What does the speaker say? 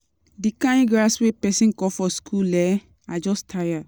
The kin grass wey person cut for school um, I just tire.